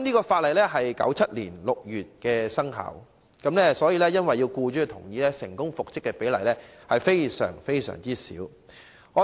法例在1997年6月生效，因為要獲僱主同意，所以僱員成功復職的比率極低。